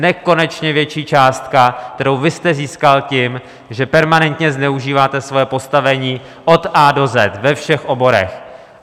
Nekonečně větší částka, kterou vy jste získal tím, že permanentně zneužíváte svoje postavení od A do Z ve všech oborech.